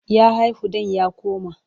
Ya haihu ɗan ya koma.